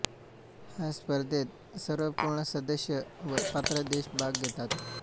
ह्या स्पर्धेत सर्व पूर्ण सदस्य व पात्र देश भाग घेतात